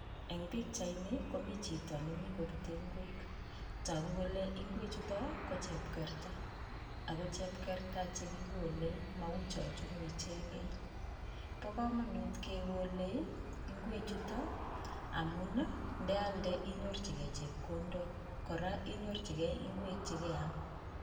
Eng pikchaini komi chito nemi kobute ng'wek. Togu kole ing'wechuto ko chepkerta, ko chepkerta chokikole ma chorutu ichekei. Po komonut kekolei ing'wechuto amun ndealde inyorchigei chepkondok, kora inyorchigei ing'wek chikeam.